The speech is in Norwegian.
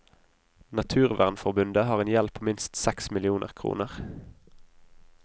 Naturvernforbundet har en gjeld på minst seks millioner kroner.